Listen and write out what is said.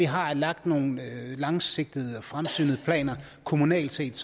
har lagt nogle langsigtede og fremsynede planer kommunalt set